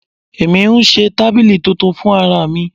Èmi ń ṣe tábìlì titun fún ara mi.